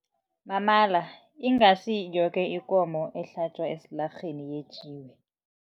Mamala ingasi yoke ikomo ehlatjwa esilarheni yetjiwe.